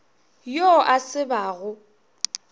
yo a se ba go